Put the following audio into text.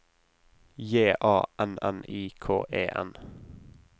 J A N N I K E N